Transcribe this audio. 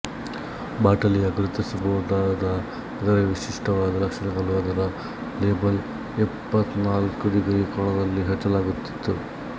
ಬಾಟಲಿಯ ಗುರುತಿಸಬಹುದಾದ ಇತರೆ ವಿಶಿಷ್ಟವಾದ ಲಕ್ಷಣಗಳು ಅದರ ಲೇಬಲ್ ಇಪ್ಪತ್ಕಾಲ್ಕು ಡಿಗ್ರಿ ಕೋನದಲ್ಲಿ ಹಚ್ಚಲಾಗುತ್ತಿತ್ತು